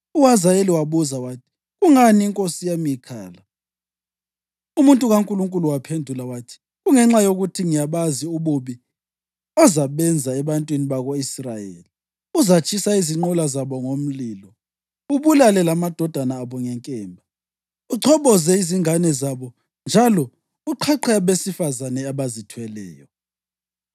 UHazayeli wabuza wathi, “Kungani inkosi yami ikhala?” Umuntu kaNkulunkulu waphendula wathi, “Kungenxa yokuthi ngiyabazi ububi ozabenza ebantwini bako-Israyeli; uzatshisa izinqola zabo ngomlilo, ubulale lamadodana abo ngenkemba, uchoboze ingane zabo njalo uqhaqhe abesifazane abazithweleyo.”